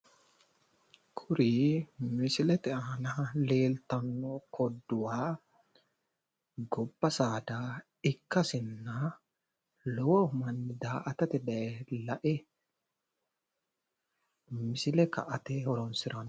Kuri misilete aana leeltanno kodduwa gobba saada ikkasinna lowo manni daa"atate daye la'e misile ka"ate horonsiranno.